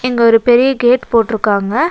இங்க ஒரு பெரிய கேட் போட்ருக்காங்க.